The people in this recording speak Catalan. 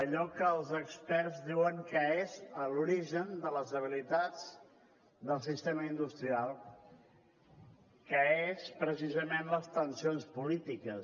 allò que els experts diuen que és l’origen de les debilitats del sistema industrial que són precisament les tensions polítiques